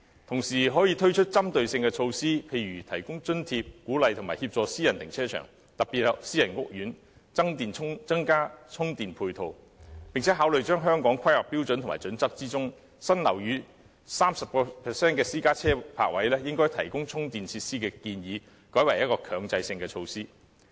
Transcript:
同時，可以推出針對性的措施，例如提供津貼，鼓勵和協助私人停車場，特別是私人屋苑增加充電配套，並考慮將《香港規劃標準與準則》中，新樓宇內 30% 的私家車泊位應提供充電設施的建議改為強制性措施。